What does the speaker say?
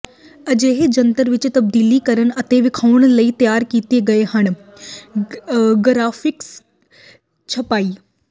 ਅਜਿਹੇ ਜੰਤਰ ਵਿੱਚ ਤਬਦੀਲ ਕਰਨ ਅਤੇ ਵੇਖਾਉਣ ਲਈ ਤਿਆਰ ਕੀਤੇ ਗਏ ਹਨ ਗਰਾਫਿਕਸ ਛਪਾਈ